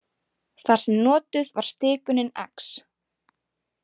Þar sem notuð var stikunin x.